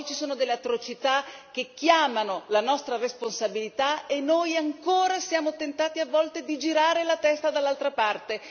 Oggi ci sono delle atrocità che chiamano la nostra responsabilità e noi ancora siamo tentati a volte di girare la testa dall'altra parte.